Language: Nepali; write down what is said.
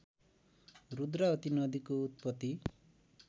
रुद्रावती नदीको उत्पत्ति